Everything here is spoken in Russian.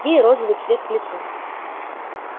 ей розовый цвет к лицу